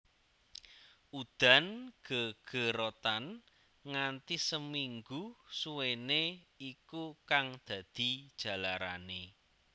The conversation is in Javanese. Udan gegerotan nganti seminggu suwene iku kang dadi jalarane